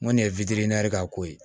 Ŋo nin ye wideyɛri k'a ko ye